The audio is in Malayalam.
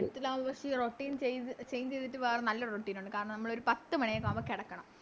Tenth ലാവുമ്പോ Routine change ചെയ്ത Change ചെയ്തിട്ട് വേറെ നല്ലൊരു Routine ഒണ്ട് കാരണം നമ്മളൊരു പത്ത് മണിയൊക്കെ ആവുമ്പോ കെടക്കണം